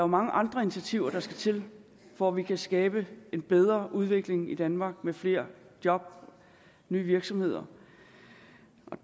mange andre initiativer der skal til for at vi kan skabe en bedre udvikling i danmark med flere job nye virksomheder